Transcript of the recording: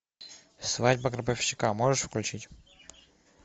свадьба гробовщика можешь включить